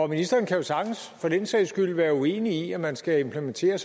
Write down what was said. ministeren kan jo sagtens for den sags skyld være uenig i at man skal implementere